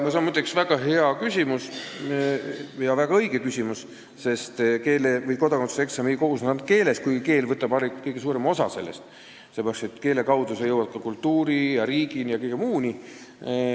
See on muide väga hea ja väga õige küsimus, sest kodakondsuse eksam ei koosne ainult keelest, kuigi võtab sellest kõige suurema osa, sellepärast et keele kaudu jõuad sa ka kultuuri, riigi ja kõige muuni.